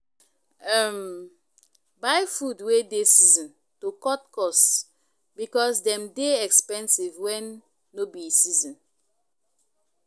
um Buy food wey dey season to cut cost because dem dey expensive when no be season